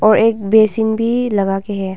और एक बेसिन भी लगा के है।